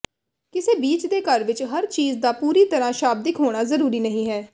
ਕਿਸੇ ਬੀਚ ਦੇ ਘਰ ਵਿੱਚ ਹਰ ਚੀਜ ਦਾ ਪੂਰੀ ਤਰ੍ਹਾਂ ਸ਼ਾਬਦਿਕ ਹੋਣਾ ਜ਼ਰੂਰੀ ਨਹੀਂ ਹੈ